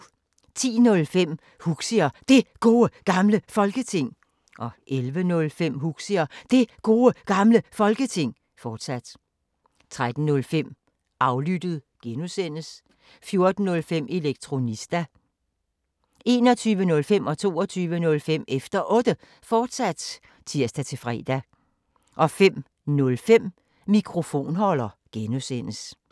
10:05: Huxi og Det Gode Gamle Folketing 11:05: Huxi og Det Gode Gamle Folketing, fortsat 13:05: Aflyttet G) 14:05: Elektronista (G) 21:05: Efter Otte, fortsat (tir-fre) 22:05: Efter Otte, fortsat (tir-fre) 05:05: Mikrofonholder (G)